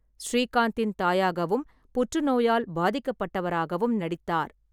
ஸ்ரீகாந்தின் தாயாகவும், புற்றுநோயால் பாதிக்கப்பட்டவராகவும் நடித்தார்.